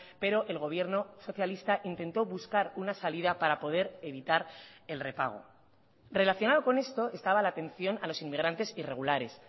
pero el gobierno socialista intentó buscar una salida para poder evitar el repago relacionado con esto estaba la atención a los inmigrantes irregulares